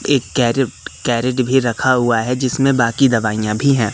एक crate crate भी रखा हुआ है जिसमें बाकी दवाइयां भी हैं।